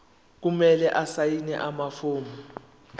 kumele asayine amafomu